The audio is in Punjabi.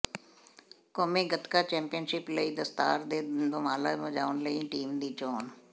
ਕੌਮੀ ਗਤਕਾ ਚੈਂਪੀਅਨਸ਼ਿਪ ਲਈ ਦਸਤਾਰ ਤੇ ਦੁਮਾਲਾ ਸਜਾਉਣ ਲਈ ਟੀਮ ਦੀ ਚੋਣ